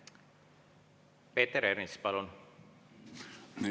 Peeter Ernits, palun!